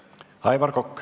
Aivar Kokk.